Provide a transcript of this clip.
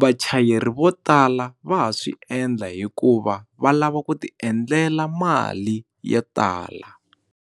vachayeri vo tala va ha swi endla hikuva va lava ku ti endlela mali yo tala.